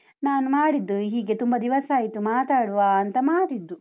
ನಾನು ಮಾಡಿದ್ದು ಹೀಗೆ ತುಂಬ ದಿವಸ ಆಯ್ತು ಮಾತಾಡುವ ಅಂತ ಮಾಡಿದ್ದು.